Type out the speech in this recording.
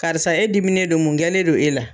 Karisa e diminen don mun kɛlen don e la.